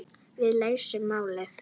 Við leysum málin.